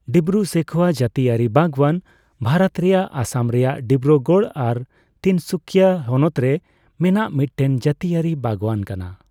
ᱰᱤᱵᱨᱩᱼᱥᱚᱤᱠᱷᱳᱣᱟ ᱡᱟᱹᱛᱤᱭᱟᱹᱨᱤ ᱵᱟᱜᱣᱟᱱ ᱵᱷᱟᱨᱚᱛ ᱨᱮᱭᱟᱜ ᱚᱥᱚᱢ ᱨᱮᱭᱟᱜ ᱰᱤᱵᱨᱩᱜᱚᱲ ᱟᱨ ᱛᱤᱱᱥᱩᱠᱤᱭᱟ ᱦᱚᱱᱚᱛ ᱨᱮ ᱢᱮᱱᱟᱜ ᱢᱤᱴᱴᱮᱱ ᱡᱟᱹᱛᱤᱭᱟᱹᱨᱤ ᱵᱟᱜᱣᱟᱱ ᱠᱟᱱᱟ ᱾